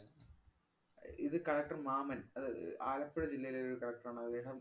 അഹ് ഇത് collector മാമന്‍. അതായത് ആലപ്പുഴ ജില്ലയിലെ ഒരു collector ആണ്. അദ്ദേഹം